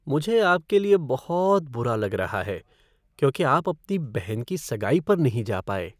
मुझे आपके लिए बहुत बुरा लग रहा है क्योंकि आप अपनी बहन की सगाई पर नहीं जा पाए।